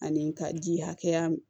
Ani ka ji hakɛya min